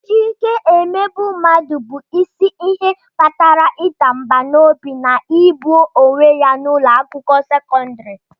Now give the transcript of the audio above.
Iji ike emegbu mmadụ bụbu isi ihe kpatara ịda mbà n'obi na igbu onwe ya n'ụlọ akwụkwọ sekọndrị.